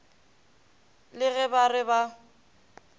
le ge ba re ba